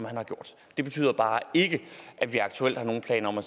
har gjort det betyder bare ikke at vi aktuelt har nogen planer om at